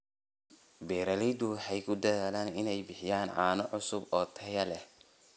Beeraleydu waxay ku dadaalaan inay bixiyaan caano cusub oo tayo leh.